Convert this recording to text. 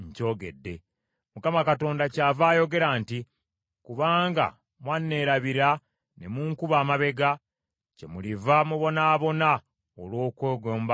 “ Mukama Katonda kyava ayogera nti, Kubanga mwanneerabira ne munkuba amabega, kyemuliva mubonaabona olw’okwegomba kwammwe.”